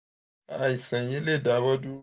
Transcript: àìsàn yìí lè dáwọ́